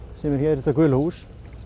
sem er hér þetta gula hús